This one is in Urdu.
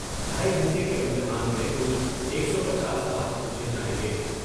ڈھائی گھنٹے کے امتحان میں کل ایک سو پچاس سوال پوچھے جائیں گے ۔